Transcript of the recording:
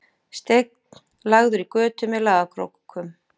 Steinn lagður í götu með lagakrókum